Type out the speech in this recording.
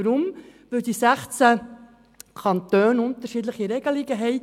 Weshalb? – Weil die 16 Kantone unterschiedliche Regelungen haben.